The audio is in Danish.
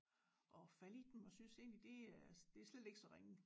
Og falde i dem og synes egentlig det er det er slet ikke så ringe